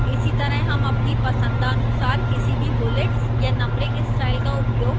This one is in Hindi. इसीतरह हम अपनी पसंदानुसार किसी भी bullets या numbering style का उपयोग कर सकते हैं